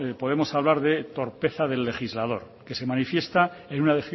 podemos hablar de torpeza del legislador que se manifiesta en una